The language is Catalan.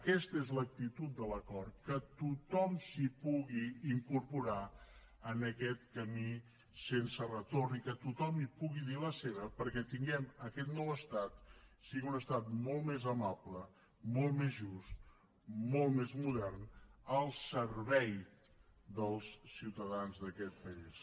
aquesta és l’actitud de l’acord que tothom s’hi pugui incorporar en aquest camí sense retorn i que tothom hi pugui dir la seva perquè tinguem aquest nou estat sigui un estat molt més amable molt més just molt més modern al servei dels ciutadans d’aquest país